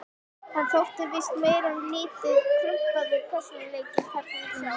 Hann þótti víst meir en lítið krumpaður persónuleiki, karlinn sá.